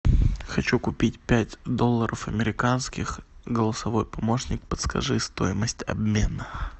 хочу купить пять долларов американских голосовой помощник подскажи стоимость обмена